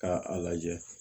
K'a lajɛ